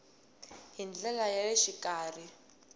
hi ndlela ya le xikarhi